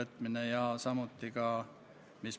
Teile on ka küsimusi.